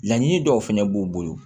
Laɲini dɔw fɛnɛ b'u bolo